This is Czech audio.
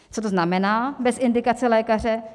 Co to znamená bez indikace lékaře?